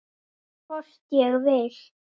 Hvort ég vil!